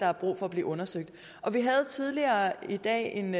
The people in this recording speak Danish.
har brug for at blive undersøgt vi havde tidligere i dag en